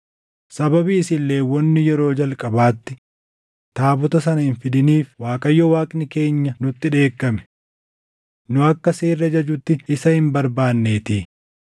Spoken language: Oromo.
Sababii isin Lewwonni yeroo jalqabaatti taabota sana hin fidiniif Waaqayyo Waaqni keenya nutti dheekkame. Nu akka seerri ajajutti isa hin barbaaddanneetii.”